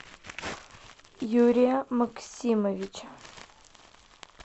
юрия максимовича